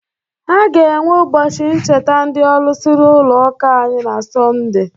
A ga-enwe ụbọchị ncheta ndị olusi n'ụlọ ụka anyị na sọnde